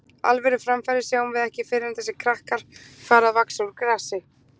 Alvöru framfarir sjáum við ekki fyrr en þessir krakkar fara að vaxa úr grasi.